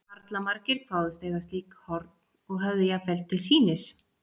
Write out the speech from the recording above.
Harla margir kváðust eiga slík horn, og höfðu jafnvel til sýnis.